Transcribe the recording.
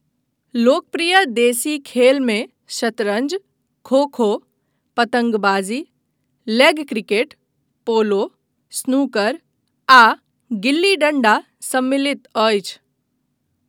लोकप्रिय देशी खेलमे शतरञ्ज, खो खो, पतङ्गबाजी, लेग क्रिकेट, पोलो, स्नूकर, आ गिल्ली डण्डा सम्मिलित अछि।